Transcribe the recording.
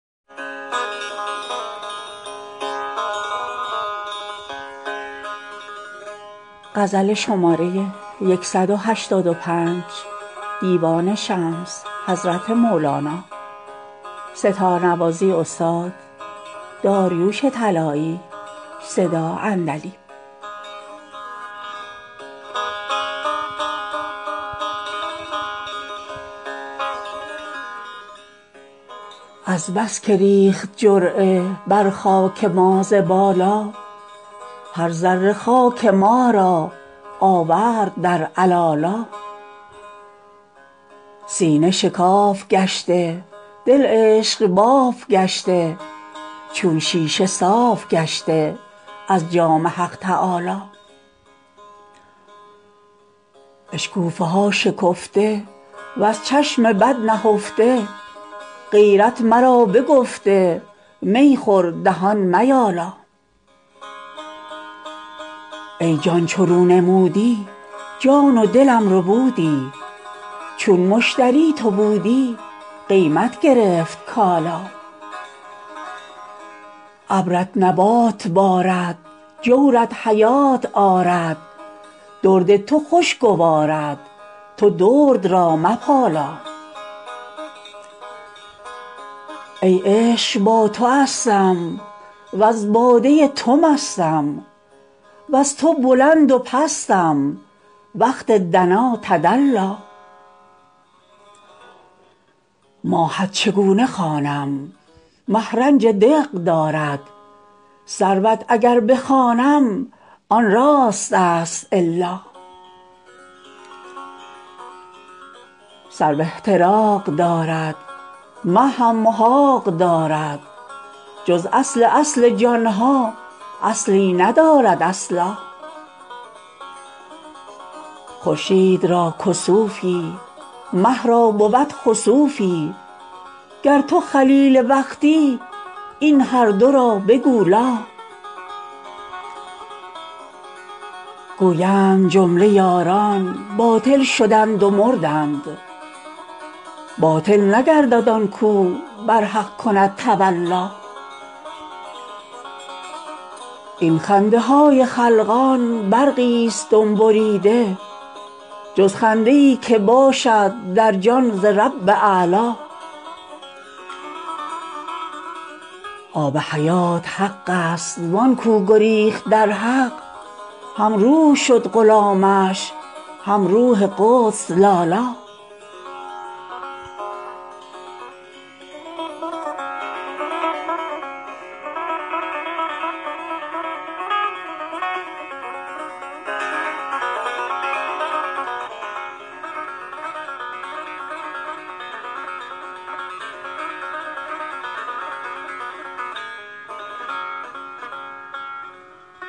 از بس که ریخت جرعه بر خاک ما ز بالا هر ذره خاک ما را آورد در علالا سینه شکاف گشته دل عشق باف گشته چون شیشه صاف گشته از جام حق تعالی اشکوفه ها شکفته وز چشم بد نهفته غیرت مرا بگفته می خور دهان میالا ای جان چو رو نمودی جان و دلم ربودی چون مشتری تو بودی قیمت گرفت کالا ابرت نبات بارد جورت حیات آرد درد تو خوش گوارد تو درد را مپالا ای عشق با توستم وز باده تو مستم وز تو بلند و پستم وقت دنا تدلی ماهت چگونه خوانم مه رنج دق دارد سروت اگر بخوانم آن راستست الا سرو احتراق دارد مه هم محاق دارد جز اصل اصل جان ها اصلی ندارد اصلا خورشید را کسوفی مه را بود خسوفی گر تو خلیل وقتی این هر دو را بگو لا گویند جمله یاران باطل شدند و مردند باطل نگردد آن کاو بر حق کند تولا این خنده های خلقان برقی ست دم بریده جز خنده ای که باشد در جان ز رب اعلا آب حیات حق است وان کاو گریخت در حق هم روح شد غلامش هم روح قدس لالا